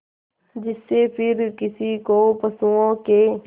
जिससे फिर किसी को पशुओं के